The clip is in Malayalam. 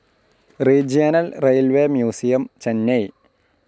regional railways museum, Chennai